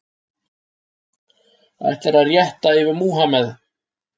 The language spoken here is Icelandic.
Ætlar að rétt yfir Múhammeð